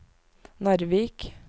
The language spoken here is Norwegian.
Narvik